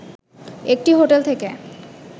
একটি হোটেল থেকে